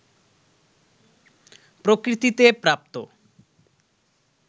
প্রকৃতিতে প্রাপ্ত